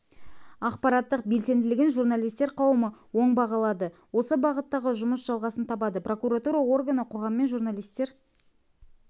ақпараттық белсенділігін журналистер қауымы оң бағалады осы бағыттағы жұмыс жалғасын табады прокуратура органы қоғаммен журналистер